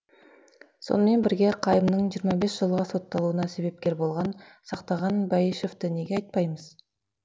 сонымен бірге қайымның жиырма бес жылға сотталуына себепкер болған сақтаған бәйішевті неге айтпаймыз